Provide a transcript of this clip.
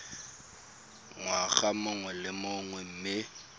ngwaga mongwe le mongwe mme